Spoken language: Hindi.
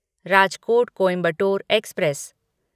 राजकोट कोइंबटोर एक्सप्रेस